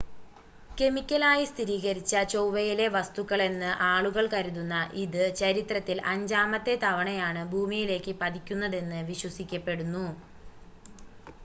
കെമിക്കലായി സ്ഥിരീകരിച്ച ചൊവ്വയിലെ വസ്തുക്കളെന്ന് ആളുകൾ കരുതുന്ന ഇത് ചരിത്രത്തിൽ അഞ്ചാമത്തെ തവണയാണ് ഭൂമിയിലേക്ക് പതിക്കുന്നതെന്ന് വിശ്വസിക്കപ്പെടുന്നു